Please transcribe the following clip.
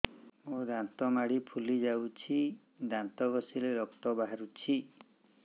ମୋ ଦାନ୍ତ ମାଢି ଫୁଲି ଯାଉଛି ଦାନ୍ତ ଘଷିଲେ ରକ୍ତ ବାହାରୁଛି